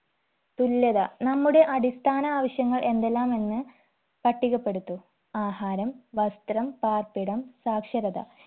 തുല്യത നമ്മുടെ അടിസ്ഥാന ആവശ്യങ്ങൾ എന്തെല്ലാമെന്ന് പട്ടികപ്പെടുത്തു ആഹാരം വസ്ത്രം പാർപ്പിടം സാക്ഷരത